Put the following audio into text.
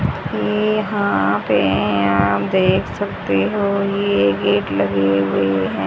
ये यहां पे आप देख सकते हो ये गेट लगे हुए हैं।